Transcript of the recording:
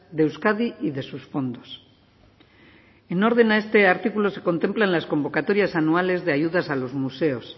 de euskadi y de sus fondos en orden a este artículo se contemplan las convocatorias anuales de ayudas a los museos